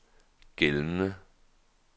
gældende